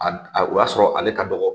Ad O y'a sɔrɔ ale ka dɔgɔ.